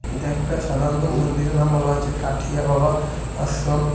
এটা একটা সাধারণত মন্দিরের নাম বলা হয়েছে কাঠিয়া বাবা আশ্রম .